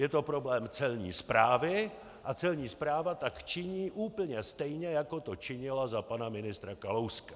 Je to problém Celní správy a Celní správa tak činí úplně stejně, jako to činila za pana ministra Kalouska."